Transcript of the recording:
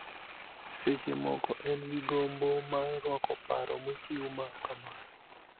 Seche moko en gi gombo mar rwako paro mochiw ma kamano,